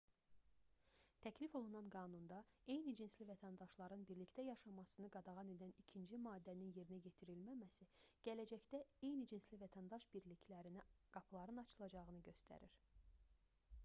təklif olunan qanunda eyni cinsli vətəndaşların birlikdə yaşamasını qadağan edən ikinci maddənin yerinə yetirilməməsi gələcəkdə eyni cinsli vətəndaş birliklərinə qapıların açılacağını göstərir